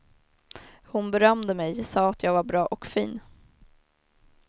Hon berömde mig, sa att jag var bra och fin.